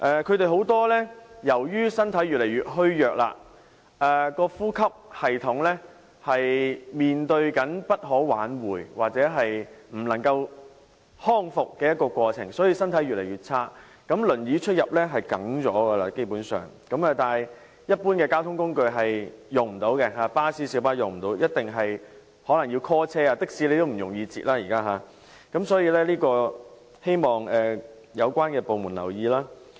他們很多人由於身體越來越虛弱，呼吸系統正面對着不可挽回或不能康復的情況，身體狀況越來越差，輪椅出入基本上是少不免，但未能使用一般交通工具，例如巴士和小巴，所以一定要電召車輛，現時也難以在街上搭的士，所以希望有關部門留意。